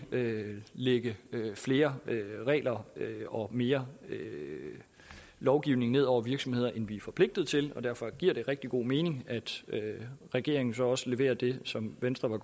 vi ikke lægger flere regler og mere lovgivning ned over virksomhederne end vi er forpligtet til derfor giver det rigtig god mening at regeringen så også leverer det som venstre